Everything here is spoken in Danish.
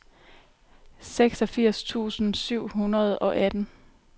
seksogfirs tusind syv hundrede og atten